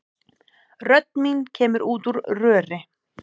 Rödd mín kemur út úr röri.